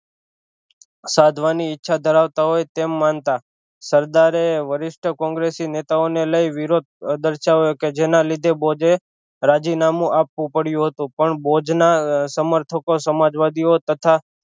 સાધવાની ઈચ્છા ધરાવતા હોય તેમ માનતા સરદારે વરિસ્ટ કોંગ્રેસી નેતાઓને લઈ વિરોધ પ્રદશન કે જેના લીધે બોધે રાજીનામું આપવું પડ્યું હતું પણ બોધ ના સમર્થકો સમાજવાદીઑ તથા